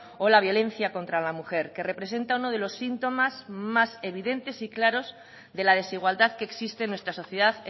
o la violencia contra la mujer que representa uno de los síntomas más evidentes y claros de la desigualdad que existe en nuestra sociedad